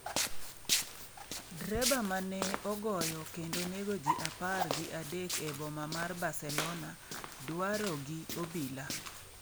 Dreba mane ogoyo kendo nego ji apar gi adek e boma mar Barcelona dwaro gi obila